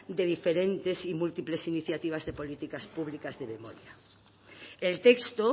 de diferentes y múltiples iniciativas de políticas públicas de memoria el texto